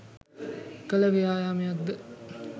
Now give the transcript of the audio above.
කළ ව්‍යායාමයක් ද?